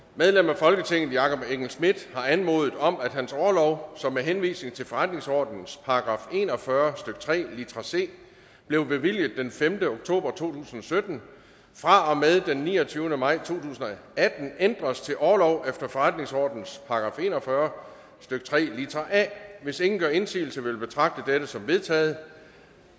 medlem af folketinget jakob engel schmidt har anmodet om at hans orlov som med henvisning til forretningsordenens § en og fyrre stykke tre litra c blev bevilget den femte oktober to tusind og sytten fra og med den niogtyvende maj to tusind og atten ændres til orlov efter forretningsordenens § en og fyrre stykke tre litra a hvis ingen gør indsigelse vil jeg betragte det som vedtaget